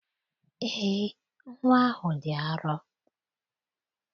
Eé, nnwa ahụ dị arọ.